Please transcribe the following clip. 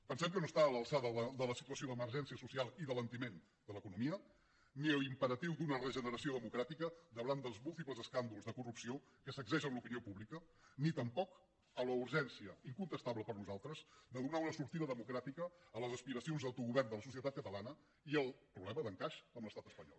pensem que no està a l’alçada de la situació d’emergència social i d’alentiment de l’economia ni de l’imperatiu d’una regeneració democràtica davant dels múltiples escàndols de corrupció que sacsegen l’opinió pública ni tampoc de la urgència incontestable per nosaltres de donar una sortida democràtica a les aspiracions d’autogovern de la societat catalana i al problema d’encaix en l’estat espanyol